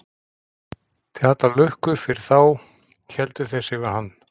Til allrar lukku fyrir þá héldu þeir sig við hann.